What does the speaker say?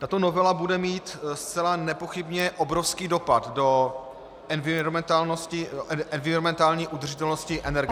Tato novela bude mít zcela nepochybně obrovský dopad do environmentální udržitelnosti energetiky -